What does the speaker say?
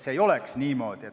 See ei tohiks niimoodi olla.